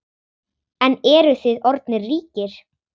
En eruð þið orðnir ríkir?